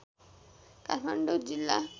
काठमाडौँ जिल्ला